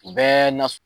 U bɛɛ na